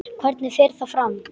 Hvernig fer það fram?